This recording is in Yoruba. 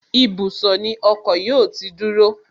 Ibùsọ̀ ni ọkọ̀ yóò ti dúró